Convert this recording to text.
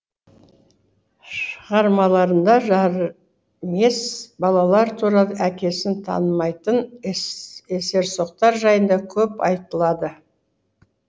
шығармаларында жарымес балалар туралы әкесін танымайтын есерсоқтар жайында көп айтылады